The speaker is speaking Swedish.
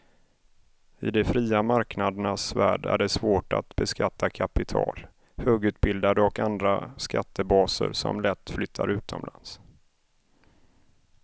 I de fria marknadernas värld är det svårt att beskatta kapital, högutbildade och andra skattebaser som lätt flyttar utomlands.